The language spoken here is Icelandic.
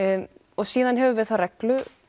og síðan höfum við þá reglu